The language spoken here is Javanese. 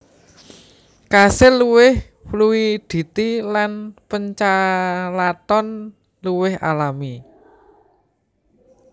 Kasil luwih fluiditi lan pachalaton luwih alami